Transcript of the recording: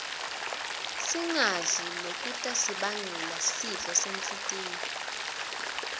singadli lokutasibangela sifo senhltiyo